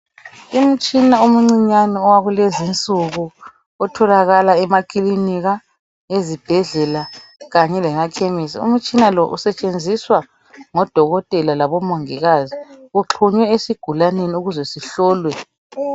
Imtshina omncinyane owakulezinsuku otholakala emakilinika, ezibhedlela kanye lemakhemisi. Umtshina lo usetshenziswa ngodokotela labomongikazi uxhunywe esigulaneni ukuze sihlolwe.